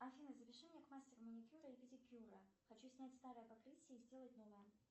афина запиши меня к мастеру маникюра и педикюра хочу снять старое покрытие и сделать новое